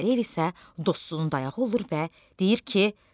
Əli Vəliyev isə dostunun dayağı olur və deyir ki: